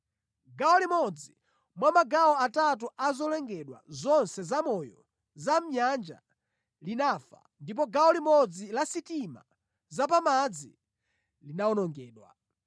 Gawo limodzi mwa magawo atatu a zolengedwa zonse zamoyo za mʼnyanja, linafa, ndipo gawo limodzi la sitima za pamadzi linawonongedwa.